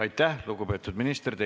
Aitäh, lugupeetud minister!